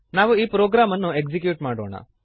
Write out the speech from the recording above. ನಾವು ಈ ಪ್ರೋಗ್ರಾಮನ್ನು ಎಕ್ಸೀಕ್ಯೂಟ್ ಮಾಡೋಣ